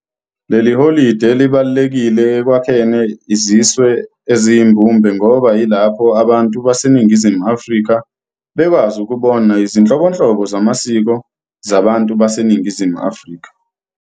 Leli holide libalulekile ekwakhene iziswe esiyimbumbe ngoba yilapho ababtu base Ningizimu Afrika bekwazi ukubona izinhlobonhlobo zamasiko zabantu base Ningizimu Afrika.